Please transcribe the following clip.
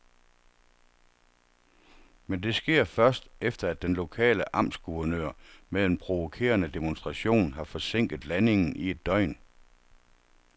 Men det sker først, efter at den lokale amtsguvernør med en provokerende demonstration har forsinket landingen i et døgn.